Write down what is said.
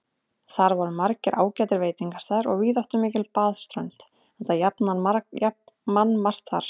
Þar voru margir ágætir veitingastaðir og víðáttumikil baðströnd, enda jafnan mannmargt þar.